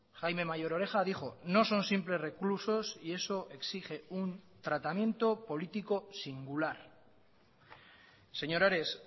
jaime mayor oreja dijo no son simples reclusos y eso exige un tratamiento político singular señor ares